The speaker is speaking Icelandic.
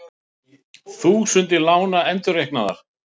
Þúsundir lána endurreiknaðar